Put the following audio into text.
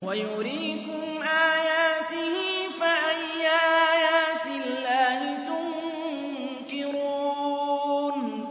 وَيُرِيكُمْ آيَاتِهِ فَأَيَّ آيَاتِ اللَّهِ تُنكِرُونَ